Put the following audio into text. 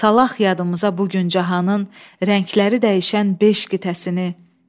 Salaq yadımıza bu gün cahanın rəngləri dəyişən beş qitəsini.